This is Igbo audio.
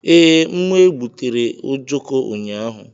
Ee, m egbutere ojoko ụnyaahụ.